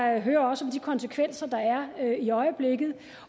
jeg hører også om de konsekvenser der er i øjeblikket